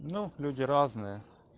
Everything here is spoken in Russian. ну люди разные